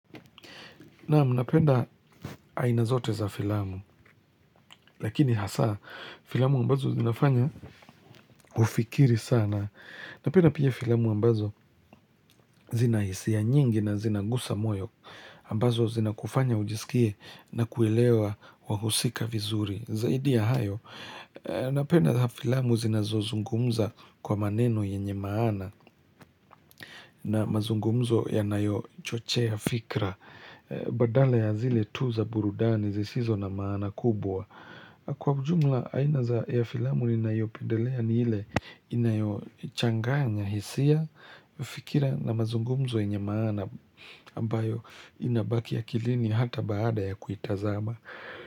Naam, napenda aina zote za filamu, lakini hasa, filamu ambazo zinafanya ufikiri sana. Napenda pia filamu ambazo zina hisia nyingi na zinagusa moyo, ambazo zinakufanya ujisikie na kuelewa wahusika vizuri. Zaidi ya hayo, napenda za filamu zinazozungumza kwa maneno yenye maana na mazungumzo yanayochochea fikra. Badala ya zile tu za burudani zisizo na maana kubwa kwa ujumla aina za ya filamu ninayoipendelea ni ile inayochanganga hisia wafikira na mazungumzo yenye maana ambayo inabaki akilini hata baada ya kuitazama.